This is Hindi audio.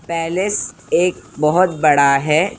पैलेस एक बहुत बड़ा है।